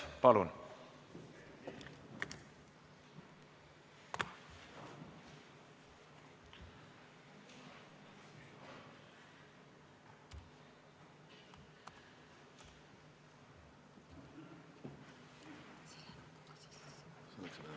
Palun!